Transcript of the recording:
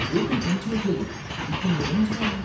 బ్రేకులు పనిచేయట్లేదు. ఇప్పుడు నేనేం చేయాలి?